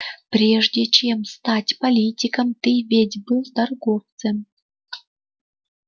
прежде чем стать политиком ты ведь был торговцем